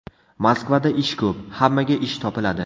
Moskvada ish ko‘p, hammaga ish topiladi.